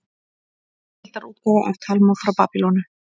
Heildarútgáfa af Talmúð frá Babýloníu.